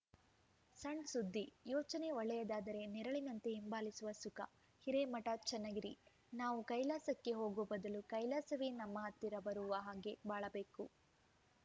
ಸಣ್‌ ಸುದ್ದಿ ಯೋಚನೆ ಒಳ್ಳೆಯದಾದರೇ ನೆರಳಿನಂತೆ ಹಿಂಬಾಲಿಸುವ ಸುಖ ಹಿರೇಮಠ ಚನ್ನಗಿರಿ ನಾವು ಕೈಲಾಸಕ್ಕೆ ಹೋಗೋ ಬದಲು ಕೈಲಾಸವೇ ನಮ್ಮ ಹತ್ತಿರ ಬರುವ ಹಾಗೆ ಬಾಳಬೇಕು